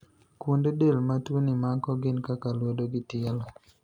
Kuonde del ma tuoni mako gin kaka lwedo gi tielo.